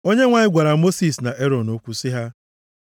Onyenwe anyị gwara Mosis na Erọn okwu sị ha,